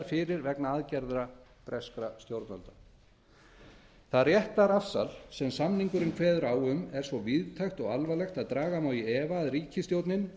fyrir vegna aðgerða breskra stjórnvalda það réttarafsal sem samningurinn kveður á um er svo víðtækt og alvarlegt að draga má í efa að ríkisstjórnin